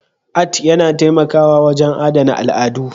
Art yana taimakawa wajen adana al'adu